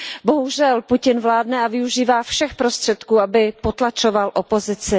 Bohužel Putin vládne a využívá všech prostředků, aby potlačoval opozici.